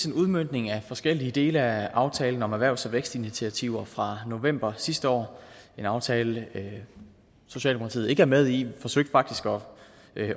en udmøntning af forskellige dele af aftalen om erhvervs og vækstinitiativer fra november sidste år en aftale socialdemokratiet ikke er med i vi forsøgte faktisk